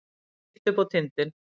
Beint upp á tindinn.